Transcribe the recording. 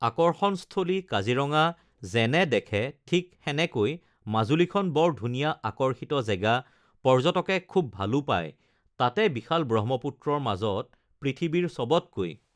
আকৰ্ষণস্থলী কাজিৰঙা যেনে দেখে ঠিক সেনেকৈ মাজুলীখন বৰ ধুনীয়া আকৰ্ষিত জেগা পৰ্যটকে খুব ভালো পায় তাতে বিশাল ব্ৰহ্মপুত্ৰৰ মাজত পৃথিৱীৰ চবতকৈ